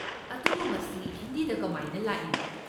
ꯑꯗꯨꯕꯨ ꯃꯁꯤ ꯍꯤꯟꯗꯤꯗ ꯀꯃꯥꯏꯅ ꯂꯥꯛꯏꯅꯣ?